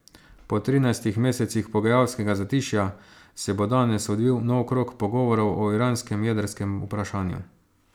Po trinajstih mesecih pogajalskega zatišja se bo danes odvil nov krog pogovorov o iranskem jedrskem vprašanju.